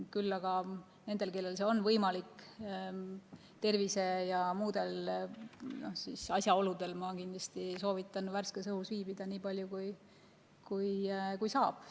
Küll aga nendel, kellel on võimalik, ma kindlasti soovitan tervise ja muudel asjaoludel värskes õhus viibida nii palju, kui saab.